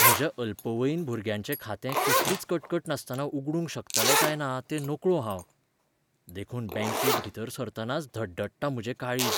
म्हज्या अल्पवयीन भुरग्याचें खातें कसलीच कटकट नासतना उगडूंक शकतलें काय ना तें नकळो हांव. देखून बॅंकेत भितर सरतनाच धडधडटा म्हजें काळीज.